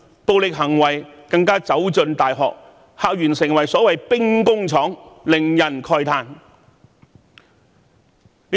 暴力行為更走進大學，校園成為所謂的兵工廠，令人慨歎。